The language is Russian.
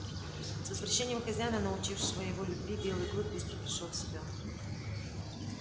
с возвращением хозяина научившего его любви белый клык быстро пришёл в себя